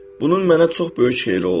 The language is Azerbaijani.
Bunun mənə çox böyük xeyri oldu.